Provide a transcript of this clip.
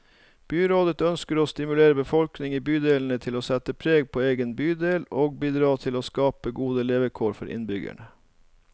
Byrådet ønsker å stimulere befolkningen i bydelene til å sette preg på egen bydel, og bidra til å skape gode levekår for innbyggerne.